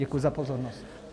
Děkuji za pozornost.